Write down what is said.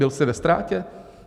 Byl jsi ve ztrátě?